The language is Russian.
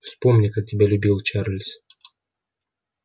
вспомни как тебя любил чарлз